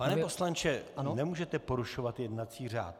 Pane poslanče, nemůžete porušovat jednací řád.